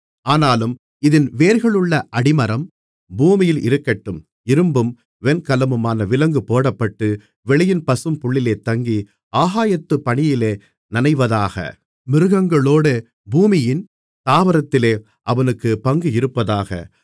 ஆனாலும் இதின் வேர்களுள்ள அடிமரம் பூமியில் இருக்கட்டும் இரும்பும் வெண்கலமுமான விலங்கு போடப்பட்டு வெளியின் பசும்புல்லிலே தங்கி ஆகாயத்துப் பனியிலே நனைவதாக மிருகங்களோடே பூமியின் தாவரத்திலே அவனுக்குப் பங்கு இருப்பதாக